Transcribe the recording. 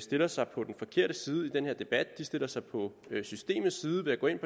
stiller sig på den forkerte side i denne debat de stiller sig på systemets side ved at gå ind på